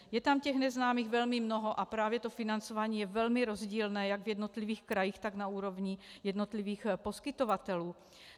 Je tam těch neznámých velmi mnoho, a právě to financování je velmi rozdílné jak v jednotlivých krajích, tak na úrovni jednotlivých poskytovatelů.